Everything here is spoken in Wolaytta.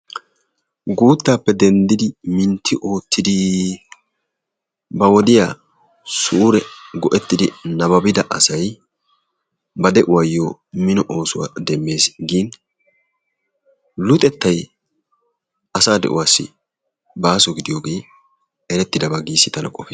Guuttaappe denddidi mintti oottidi ba woodiyaa suure go"ettidi nababida asay ba de'uwaayoo mino oosuwaa demmees. gin luxettay asa de'uwaassi baso gidiyogee geettetidi tana qoofisses.